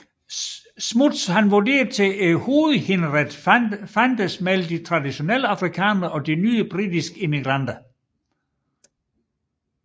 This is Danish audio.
Smuts vurderede at hovedhinderet fantes mellem de traditionelle afrikanere og de nye britiske immigranter